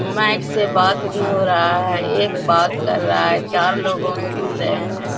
Mic से बात भी हो रहा है एक बात कर रहा है चार लोग सुन रहे हैं।